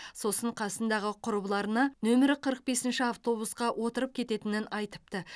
сосын қасындағы құрбыларына нөмірі қырық бесінші автобусқа отырып кететінен айтыпты